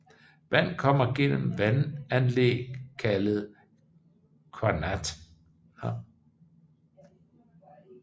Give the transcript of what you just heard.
Vand kommer gennem vandanlæg kaldet qanat